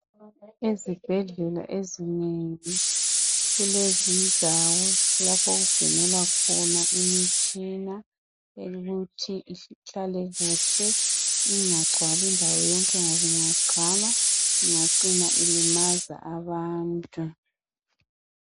Ezibhedlela ezinengi kulezindawo lapho okugcinelwa khona imitshina ibuthwe ihlale kuhle ingagcwali indawo yonke ngoba ingagcwala ingacina ilimaza abantu.